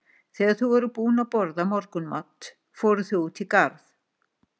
Þegar þau voru búin að borða morgunmat fóru þau út í garð.